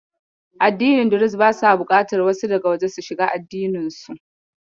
Addini Duruz basa buƙatar wasu daga waje su shiga addininsu.